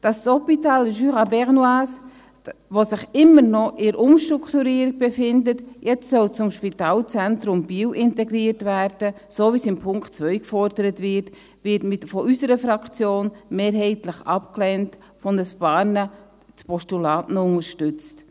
Dass das Hôpital du Jura bernois, das sich immer noch in der Umstrukturierung befindet, jetzt in das Spitalzentrum Biel integriert werden soll, so wie es in Punkt 2 gefordert wird, wird von unserer Fraktion mehrheitlich abgelehnt, von ein paar noch als Postulat unterstützt.